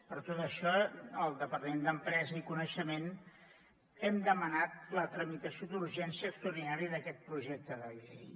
per tot això el departament d’empresa i coneixement hem demanat la tramitació d’urgència extraordinària d’aquest projecte de llei